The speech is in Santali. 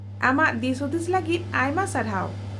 -ᱟᱢᱟᱜ ᱫᱤᱥᱦᱩᱫᱤᱥ ᱞᱟᱹᱜᱤᱫ ᱟᱭᱢᱟ ᱥᱟᱨᱦᱟᱣ ᱾